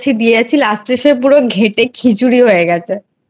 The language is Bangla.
দিয়েই যাচ্ছি last এ ঘেটে পুরো খিচুড়ি হয়ে গেছে।